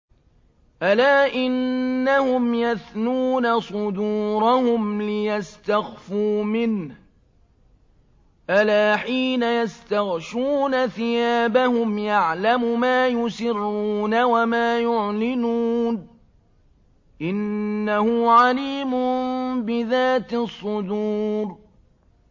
أَلَا إِنَّهُمْ يَثْنُونَ صُدُورَهُمْ لِيَسْتَخْفُوا مِنْهُ ۚ أَلَا حِينَ يَسْتَغْشُونَ ثِيَابَهُمْ يَعْلَمُ مَا يُسِرُّونَ وَمَا يُعْلِنُونَ ۚ إِنَّهُ عَلِيمٌ بِذَاتِ الصُّدُورِ